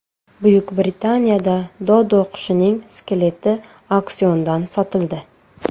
Buyuk Britaniyada dodo qushining skeleti auksiondan sotildi.